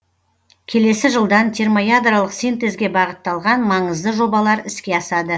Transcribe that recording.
келесі жылдан термоядролық синтезге бағытталған маңызды жобалар іске асады